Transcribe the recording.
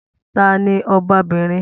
Ta ni ọbabinrin?